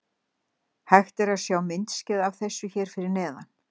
Hægt er að sjá myndskeið af þessu hér fyrir neðan.